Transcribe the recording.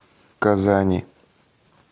казани